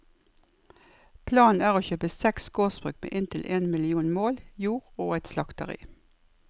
Planen er å kjøpe seks gårdsbruk med inntil en million mål jord og et slakteri.